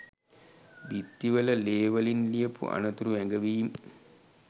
බිත්තිවල ලේ වලින් ලියපු අනතුරු ඇඟවීම්.